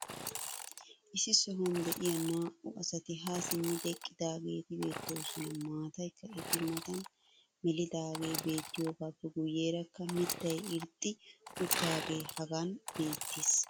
issi sohuwan diya naa'u asati haa simmidi eqqidaageeti beetoosona. maataykka eta matan melidaagee beetiyaagaappe guyeerakka mitay irxxi uttidaagee hagan beetees.